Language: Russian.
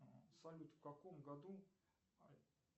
салют в каком году